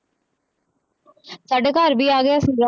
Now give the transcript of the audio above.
ਸਾਡੇ ਘਰ ਵੀ ਆ ਗਿਆ ਸੀਗਾ